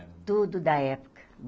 tudo da época.